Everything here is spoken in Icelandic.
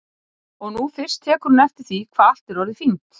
Og nú fyrst tekur hún eftir því hvað allt er orðið fínt.